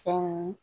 Fɛnw